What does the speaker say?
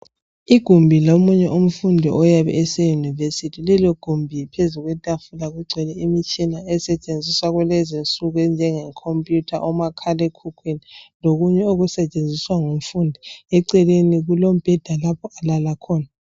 Igumbi lomunye umfundi oyabe eseUnirvesity. Lelo gumbi phezu kwetafula kugcwele imtshina esetshenziswa kulezi nsuku enjenge khompiyutha lomakhalekhukhwini lokunye okusetshenziswa ngumfundi celeni kulombheda lapho alala khona.